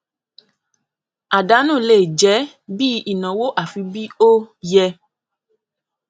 àdánù lè jẹ bí ìnáwó àfi bí ó yẹ